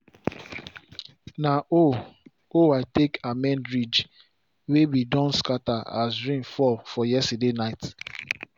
na hoe hoe i take amend ridge wey be don scatter as rain fall for yesterday nite